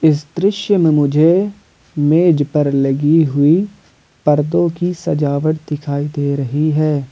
इस दृश्य में मुझे मेज पर लगी हुई परदों की सजावट दिखाई दे रही है।